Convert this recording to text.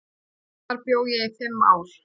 Þar bjó ég í fimm ár.